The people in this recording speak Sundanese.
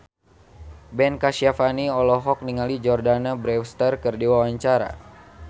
Ben Kasyafani olohok ningali Jordana Brewster keur diwawancara